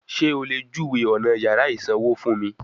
Sé o lè júwèé ọ̀nà yàrá ìsanwó fún mi?